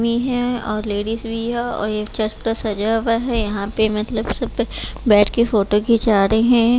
भी है और लेडीज भी है और एक चर्च सजा हुआ है यहाँ पे मतलब सब पे बैठ के फोटो खिचा रहे हैं।